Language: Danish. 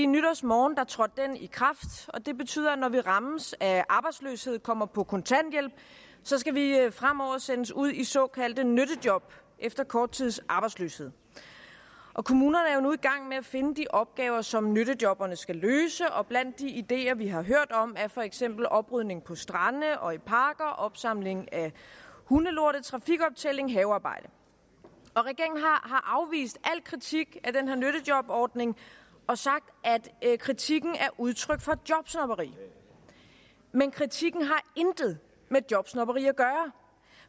nytårsmorgen trådte den i kraft og det betyder at når vi rammes af arbejdsløshed og kommer på kontanthjælp skal vi fremover sendes ud i såkaldte nyttejob efter kort tids arbejdsløshed kommunerne nu i gang med at finde de opgaver som nyttejobberne skal løse og blandt de ideer vi har hørt om er for eksempel oprydning på strande og i parker opsamling af hundelorte trafikoptælling og havearbejde regeringen har afvist al kritik af den her nyttejobordning og sagt at kritikken er udtryk for jobsnobberi men kritikken har intet med jobsnobberi at der